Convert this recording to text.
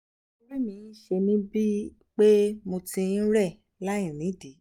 orí mi ń um ṣe mí um bíi pé mo ti um rẹ́ láìnídìí